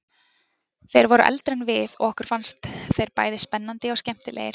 Þeir voru eldri en við og okkur fannst þeir bæði spennandi og skemmtilegir.